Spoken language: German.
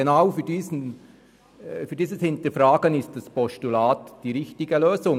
Genau für diese Absicht, sie nochmals zu hinterfragen, ist das Postulat die richtige Lösung.